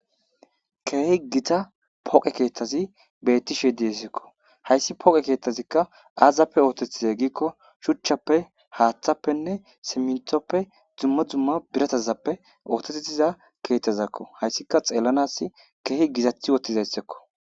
Keehi gita poqe keettazi bettishe diesekko hayssi poqe keettazikka aazappe ootetiza giikko shuchchappe haaththappenne simintoppe dzumma dzumma biratazappe ootetettiza keethtazakko hayssika xeellanas keehi gizathi wottizayssekko